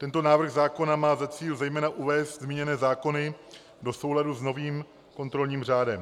Tento návrh zákona má za cíl zejména uvést zmíněné zákony do souladu s novým kontrolním řádem.